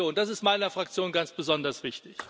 Das ist meiner Fraktion ganz besonders wichtig.